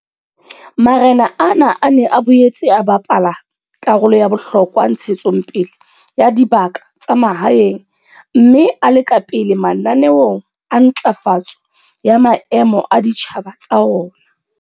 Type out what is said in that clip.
Marena ana a ne a boetse a bapala karolo ya bohlokwa ntshetsong pele ya dibaka tsa mahaeng mme a le ka pele mananeong a ntlafatso ya maemo a ditjhaba tsa ona.